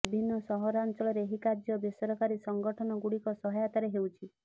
ବିଭିନ୍ନ ସହାରାଞ୍ଚଳରେ ଏହି କାର୍ଯ୍ୟ ବେସରକାରୀ ସଂଗଠନ ଗୁଡିକ ସହାୟତାରେ ହେଉଛି